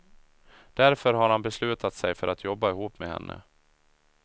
Därför har han beslutat sig för att jobba ihop med henne.